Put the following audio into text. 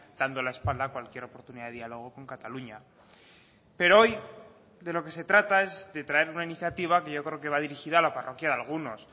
dando la espalda a cualquier oportunidad de diálogo con cataluña pero hoy de lo que se trata es de traer una iniciativa que yo creo que va dirigida a la parroquia de algunos